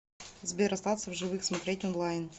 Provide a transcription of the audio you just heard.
сбер остаться в живых смотреть онлайн